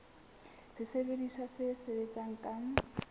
ke sesebediswa se sebetsang ka